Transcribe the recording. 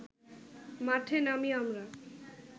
মাঠে নামি আমরা